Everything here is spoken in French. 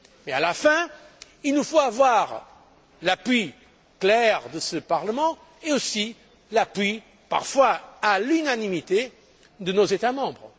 Et à la fin, il nous faut avoir l'appui clair de ce Parlement et aussi l'appui, parfois à l'unanimité, de nos États membres.